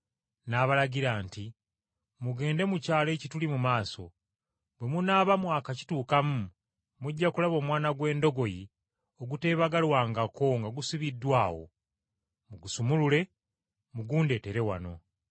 N’abalagira nti, “Mugende mu kyalo ekituli mu maaso, bwe munaaba mwakakituukamu mujja kulaba omwana gw’endogoyi oguteebagalwangako nga gusibiddwa awo. Mugusumulule mugundeetere wano.